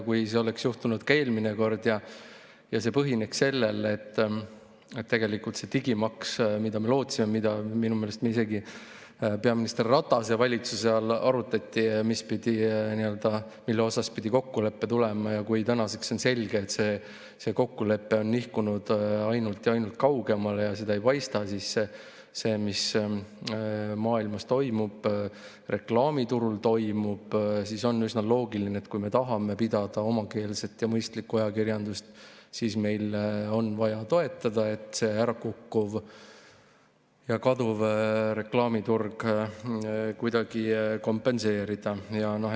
Kui see oleks juhtunud ka eelmine kord ja põhineks sellel, et digimaks, mida me lootsime – minu meelest arutati seda isegi peaminister Ratase valitsuse ajal – ja mille kohta pidi kokkulepe tulema, aga tänaseks on selge, et see kokkulepe on nihkunud ainult kaugemale, seda ei paista, siis seda, mis maailmas reklaamiturul toimub, on üsna loogiline, et kui me tahame pidada omakeelset mõistlikku ajakirjandust, siis on meil vaja seda toetada, et ärakukkuv ja kaduv reklaamiturg kuidagi kompenseerida.